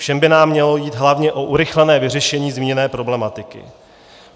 Všem by nám mělo jít hlavně o urychlené vyřešení zmíněné problematiky.